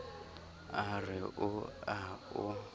a re o a o